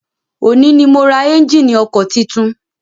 Òní ni mo ra ẹ́njíìnì ọkọ̀ titun.